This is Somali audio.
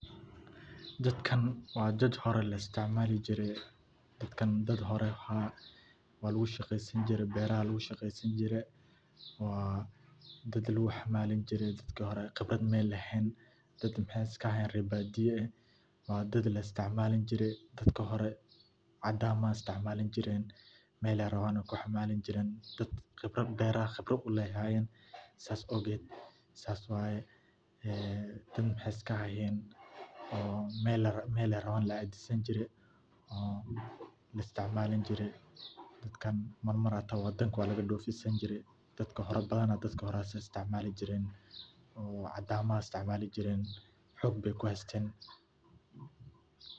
Dadkan waa dad hoore laistacmaali jiire. dadkan dad hoore waa laguu shaqeysan jiire beraha laguu shaqeysan jire waa dad laguu xamalaan jiire dadka hoore qibraad mey lehen daad maxey iska ahayen re baadiyo eeh waa daad laisticmaali jiire dadki hoore cadaan baa isticmaali jiiren meley rawaaney kuu xamalaan jiren. daad qibrad beraha qibraad uu leeh ayey ahayen sas awged saas waye. ee dad maxey iska ahayen een meley rawaan laadiisani jire oo laisticmaali jiire dadkan mamar hata wadaanka waa lagaa dofiisani jiire dadka badana dadka hoora sas isticmaali jiren oo cadamaha isticmaali jiren xoog bey kuu haysten.